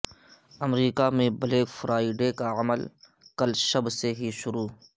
امریکہ میں black Friday کا عمل کل شب سے ہی شروع